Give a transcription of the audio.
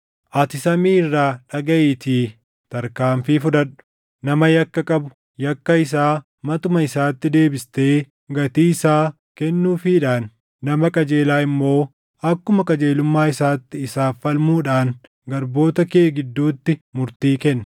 ati samii irraa dhagaʼiitii tarkaanfii fudhadhu. Nama yakka qabu, yakka isaa matuma isaatti deebistee gatii isaa kennuufiidhaan, nama qajeelaa immoo akkuma qajeelummaa isaatti isaaf falmuudhaan garboota kee gidduutti murtii kenni.